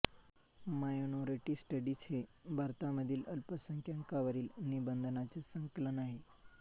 minority studies हे भारतामधील अल्पसंख्याकावरील निबंधांचे संकलन आहे